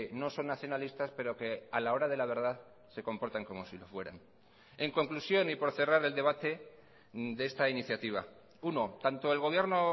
no son nacionalistas pero que a la hora de la verdad se comportan como si lo fueran en conclusión y por cerrar el debate de esta iniciativa uno tanto el gobierno